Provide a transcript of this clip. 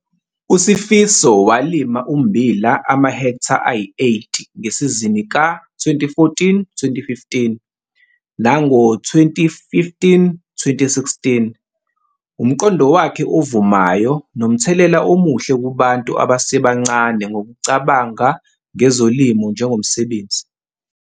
USifiso walima ummbila amahektha ayi-8 ngesizini ka-2014, 2015 nango-2015, 2016. Umqondo wakhe ovumayo nomthelela omuhle kubantu abasebancane ngokucabanga ngezolimo njengomsebenzi.